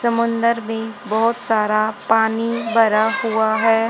समंदर में बहोत सारा पानी बरा हुआ है।